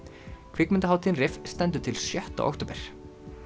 kvikmyndahátíðin stendur til sjötta október